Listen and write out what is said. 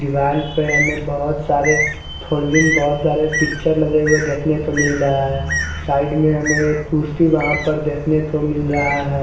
दीवाल पे हमे बहोत सारे फुलीन बहोत सारे पिक्चर्स लगे हुए देखने को मिल रहा है साइड में हमे एक पुष्टि वहा पे देखने को मिल रहा है।